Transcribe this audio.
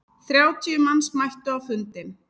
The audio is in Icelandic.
Þrjátíu manns mættu á fundinn.